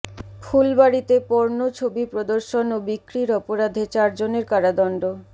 ফুলবাড়ীতে porn ছবি প্রদর্শন ও বিক্রির অপরাধে চারজনের কারাদণ্ড